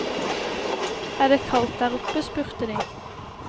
Er det kaldt der oppe, spurte de.